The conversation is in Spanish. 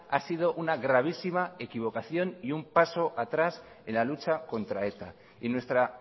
ha sido una gravísima equivocación y un pasó atrás en la lucha contra eta y nuestra